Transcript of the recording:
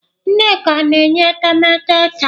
Nneka na-eyi etemeete taa.